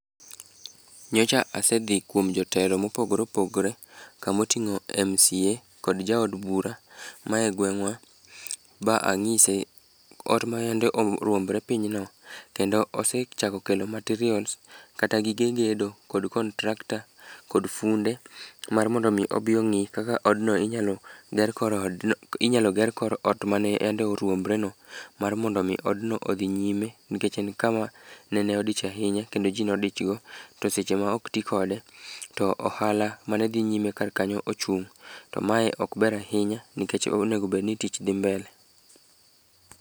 Nyocha asedhi kuom jotelo mopogore opogore, kamoting'o MCA kod jaod bura ma e gweng'wa. Ma anyise ot ma yande orwombre piny no, kendo osechako kelo materials kata gige gedo kod kontrakta, kod funde. Mar mondo mi obi ong'i kaka odno inyalo ger korodno inyalo ger kor ot ma yande orwombre no. Mar mondo mi odno odhi nyime nikech en kama nene odich ahinya, kendo ji nodich go. To seche ma ok ti kode, to ohala mane dhi nyime kar kanyo ochung'. To mae ok ber ahinya nikech onegobedni tich dhi mbele.